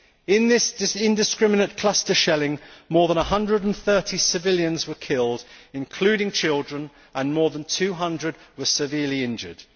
In this indiscriminate cluster shelling, more than 130 civilians were killed, including children, and more than 200 were severely injured.'